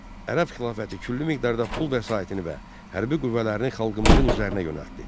Ərəb xilafəti küllü miqdarda pul vəsaitini və hərbi qüvvələrini xalqımızın üzərinə yönəltdi.